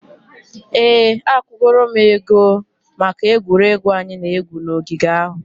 Ee, akwụgoro m ego maka egwuregwu anyị na-egwu n'ogige ahụ.